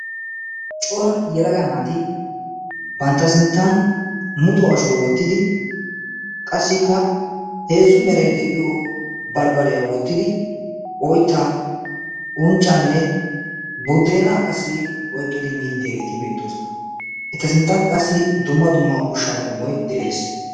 coora yelaga naati bantta sinttan muxo ashuwaa wottidi qassikka heezzu merai de7iyo baribariyaa wottidi oittaa unccaanne buddeena qassi oiqqidi miidi deyaageeti beettoosona. etta sinttankka qassi dumma dumma ushshaa qommoi de7ees.